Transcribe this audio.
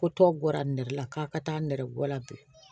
Ko tɔ bɔra nɛrɛ la k'a ka taa nɛrɛgula bi